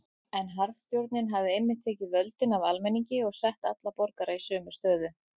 En harðstjórnin hafði einmitt tekið völdin af almenningi og sett alla borgara í sömu stöðu.